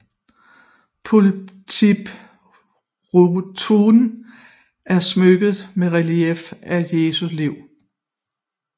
Pulpituret er smykket med relieffer fra Jesu Liv